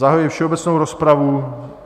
Zahajuji všeobecnou rozpravu.